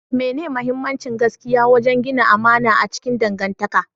mene muhimmancin gaskiya wajen gina amana a cikin dangantaka?